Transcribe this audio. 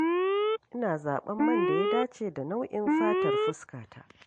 Ina zaɓen man da ya dace da nau’in fatar fuskata.